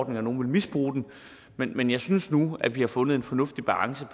at nogen vil misbruge den men men jeg synes nu at vi har fundet en fornuftig balance